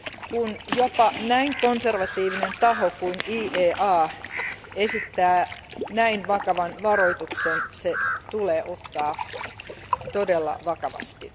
Kun jopa näin konservatiivinen taho kuin IEA esittää näin vakavan varoituksen, se tulee ottaa todella vakavasti.